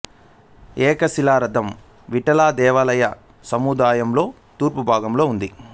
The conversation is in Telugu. ఏక శిలా రథం విఠల దేవాలయ సముదాయంలో తూర్పు భాగంలో ఉంది